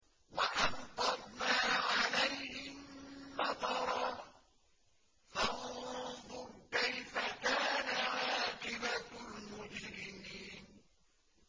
وَأَمْطَرْنَا عَلَيْهِم مَّطَرًا ۖ فَانظُرْ كَيْفَ كَانَ عَاقِبَةُ الْمُجْرِمِينَ